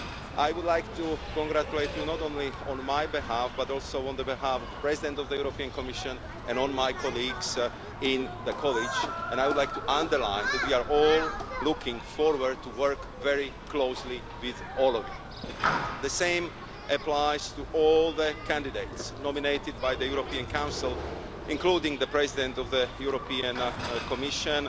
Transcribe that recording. I would like to congratulate you not only on my behalf but also on behalf of the President of the European Commission and my colleagues in the College, and I would like to underline that we are all looking forward to working very closely with all of you. The same applies to all the candidates nominated by the European Council, including the candidate for President of the European Commission,